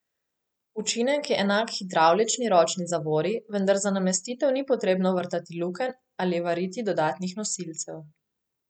Učinek je enak hidravlični ročni zavori, vendar za namestitev ni potrebno vrtati lukenj ali variti dodatnih nosilcev.